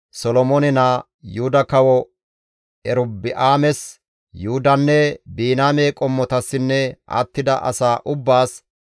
«Solomoone naa, Yuhuda Kawo Erobi7aames, Yuhudanne Biniyaame qommotassinne attida asaa ubbaas,